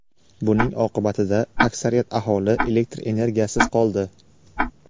Buning oqibatida aksariyat aholi elektr energiyasiz qoldi.